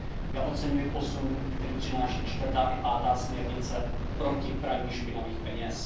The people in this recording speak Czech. Já oceňuji posun, který přináší čtvrtá i pátá směrnice proti praní špinavých peněz.